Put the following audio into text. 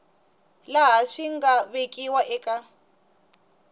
laha swi nga vekiwa eka